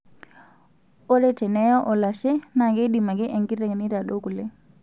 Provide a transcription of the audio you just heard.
Ore teneeye olashe naakeidim ake enkiteng' aitadou kule.